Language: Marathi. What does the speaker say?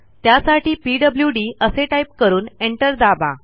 त्यासाठी पीडब्ल्यूडी असे टाईप करून एंटर दाबा